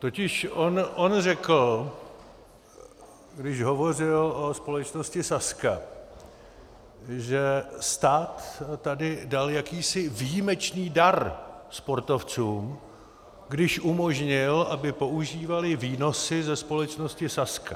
Totiž on řekl, když hovořil o společnosti Sazka, že stát tady dal jakýsi výjimečný dar sportovcům, když umožnil, aby používali výnosy ze společnosti Sazka.